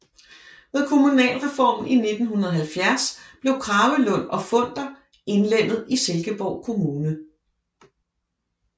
Ved kommunalreformen i 1970 blev Kragelund og Funder indlemmet i Silkeborg Kommune